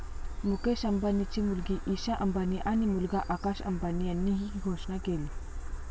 मुकेश अंबानींची मुलगी ईशा अंबानी आणि मुलगा आकाश अंबानी यांनी ही घोषणा केली.